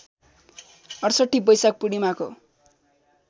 ६८ बैशाख पूर्णिमाको